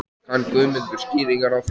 Kann Guðmundur skýringar á því?